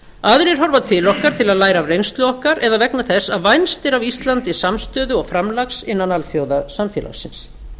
aðrir horfa til okkar til að læra af reynslu okkar eða vegna þess að vænst er af íslandi samstöðu og framlags innan alþjóðasamfélagsins